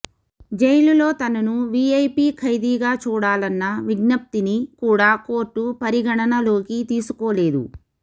జైలులో తనను వీఐపీ ఖైదీగా చూడాలన్న విజ్ఞప్తిని కూడా కోర్టు పరిగణననలోకి తీసుకోలేదు